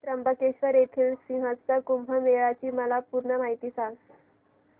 त्र्यंबकेश्वर येथील सिंहस्थ कुंभमेळा ची मला पूर्ण माहिती सांग